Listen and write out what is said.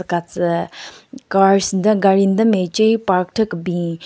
Katsü cars nden gaari nden mache park thyu kebin.